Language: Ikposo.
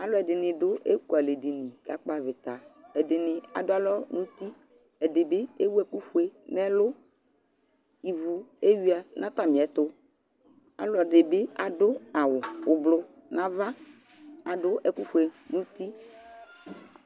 Alʋɛdɩnɩ dʋ ekualɛdini kakpɔ avɩta Ɛdɩnɩ adʋ alɔ nʋ uti Ɛdɩ bɩ ewu ɛkʋfue nʋ ɛlʋ Ivu eyuǝ nʋ atamɩɛtʋ Ɔlɔdɩ bɩ adʋ awʋ ʋblʋ nʋ ava, adʋ ɛkʋfue nʋ uti